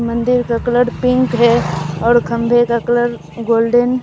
मंदिर का colour pink है और खंबे का कलर गोल्डन --